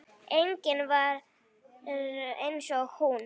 Engin var eins og hún.